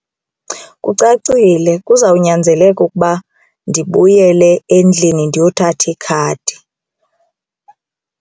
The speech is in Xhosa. Kucacile kuzawunyanzeleka ukuba ndibuyele endlini ndiyothatha ikhadi.